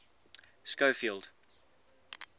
schofield